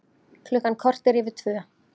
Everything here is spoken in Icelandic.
Klukkan korter yfir tvö